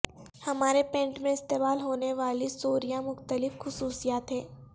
ہمارے پینٹ میں استعمال ہونے والی سوریاں مختلف خصوصیات ہیں